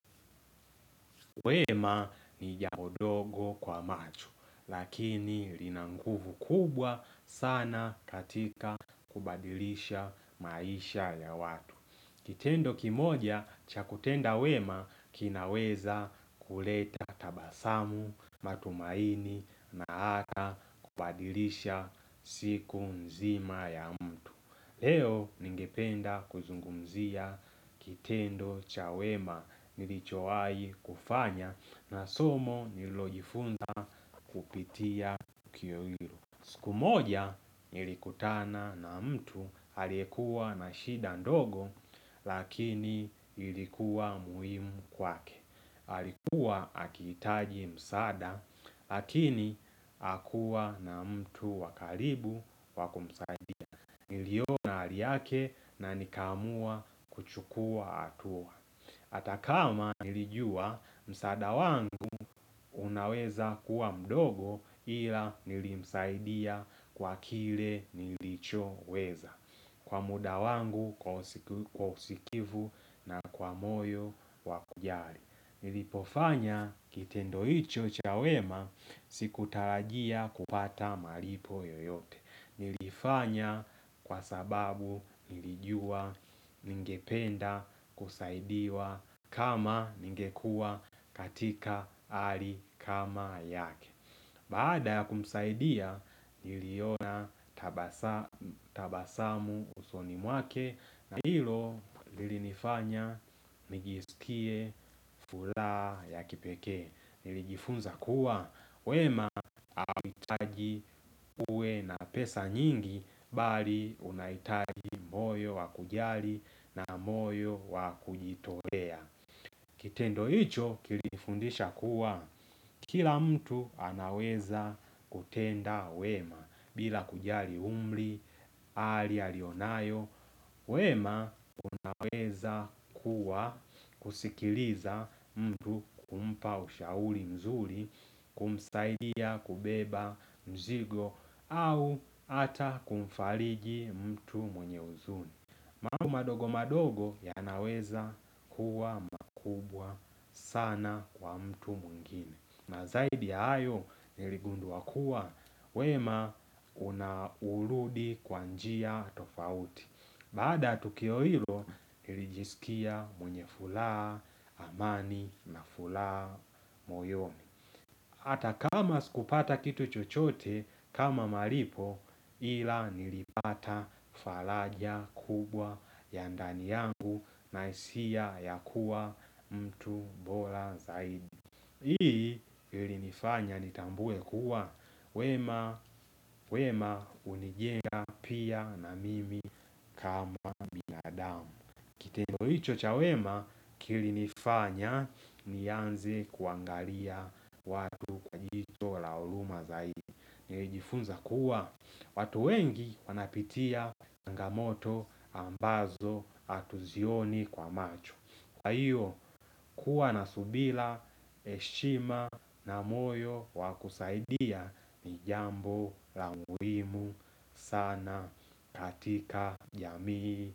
Wema ni jambo dogo kwa macho, lakini linanguvu kubwa sana katika kubadilisha maisha ya watu. Kitendo kimoja cha kutenda wema kinaweza kuleta tabasamu, matumaini na ata kubadilisha siku mzima ya mtu. Leo ningependa kuzungumzia kitendo chawema nilichoai kufanya na somo nilojifunza kupitia tukio ilo. Siku moja nilikutana na mtu aliyekuwa na shida ndogo lakini ilikuwa muhimu kwake. Halikuwa akitaji msada lakini akuwa na mtu wakaribu wakumsaidi. Niliona haliyake na nikaamua kuchukua hatua Atakama nilijua msaada wangu unaweza kuwa mdogo ila nilimsaidia kwa kile nilicho weza Kwa muda wangu kwa usikivu na kwa moyo wakujali Nilipofanya kitendoicho chawema siku tarajia kupata malipo yoyote Nilifanya kwa sababu nilijua ningependa kusaidia kama ningekua katika hali kama yake Baada ya kumsaidia niliona tabasamu usoni mwake na hilo nilifanya nijiskie furaha ya kipekee Nilijifunza kuwa wema hautaji uwe na pesa nyingi Bali unahitaji moyo wakujali na moyo wakujitolea Kitendo hicho kilifundisha kuwa Kila mtu anaweza kutenda wema bila kujali umri, hali alionayo wema naweza kuwa kusikiliza mtu kumpa ushauri mzuri kumsaidia kubeba mzigo au ata kumfaliji mtu mwenye huzuni. Mambo madogo madogo ya naweza kuwa makubwa sana kwa mtu mwingine. Na zaidi ya hayo niligunduwa kuwa wema unauludi kwanjia tofauti. Baada ya tukio hilo nilijisikia mwenye furaha amani na furaha moyoni. Hata kama sikupata kitu chochote kama malipo ila nilipata falaja kubwa ya ndani yangu na hisia ya kuwa mtu bora zaidi. Hii ili nifanya nitambue kuwa wemah unijenga pia na mimi kama. Kitendo hicho cha wema kili nifanya ni anze kuangalia watu jicho la huruma zaidi. Nijifunza kuwa, watu wengi wanapitia changamoto ambazo hatuzioni kwa macho. Kwa hiyo, kuwa na subira, heshima na moyo wakusaidia ni jambo la muhimu sana katika ya jamii.